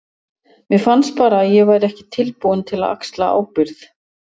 Mér fannst bara að ég væri ekki tilbúinn til að axla ábyrgð.